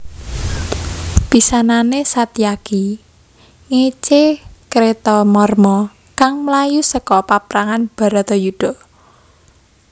Pisanane Satyaki ngece Kretamarma kang mlayu seka paprangan Bharatayuddha